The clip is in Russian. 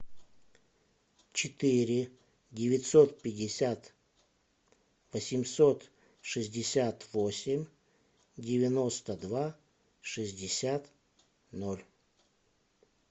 четыре девятьсот пятьдесят восемьсот шестьдесят восемь девяносто два шестьдесят ноль